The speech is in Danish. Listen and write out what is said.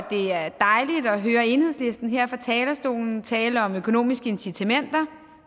det er dejligt at høre enhedslisten her fra talerstolen tale om økonomiske incitamenter